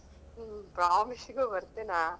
ಹ್ಮ್ promise ಇಗು ಬರ್ತೆನೆಯಾ.